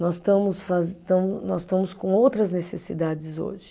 Nós estamos faze, estamos, nós estamos com outras necessidades hoje.